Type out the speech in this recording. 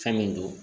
Fɛn min don